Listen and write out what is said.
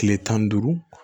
Kile tan ni duuru